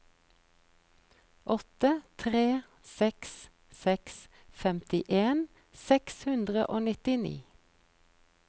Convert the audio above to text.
åtte tre seks seks femtien seks hundre og nittini